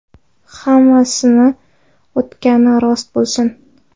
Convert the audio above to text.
Hammasi o‘tgani rost bo‘lsin.